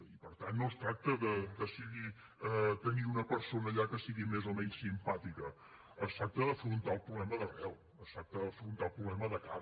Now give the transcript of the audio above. i per tant no es tracta de decidir tenir una persona allà que sigui més o menys simpàtica es tracta d’afrontar el problema d’arrel es tracta d’afrontar el problema de cara